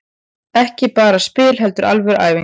Ekki bara spil heldur alvöru æfing.